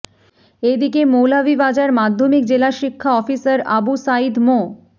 এদিকে মৌলভীবাজার মাধ্যমিক জেলা শিক্ষা অফিসার আবু সাঈদ মো